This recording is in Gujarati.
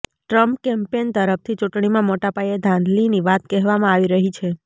ટ્રમ્પ કેમ્પેન તરફથી ચૂંટણીમાં મોટા પાયે ધાંધલીની વાત કહેવામાં આવી રહી છે